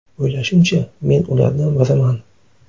O‘ylashimcha, men ulardan biriman.